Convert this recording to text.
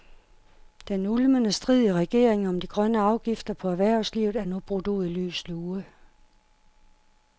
Den ulmende strid i regeringen om de grønne afgifter på erhvervslivet er nu brudt ud i lys lue.